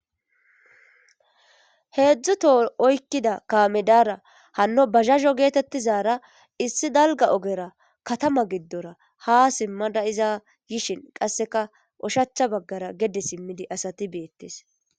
Heedzdzuto oykkida kaamedara hanno bazhaho geetettizara issi dalga ogera katama giddora ha simmada iza yishin qasseka oshacha baggara gede simmidi asati beettes.